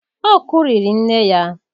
Ọ kụriri nne ya.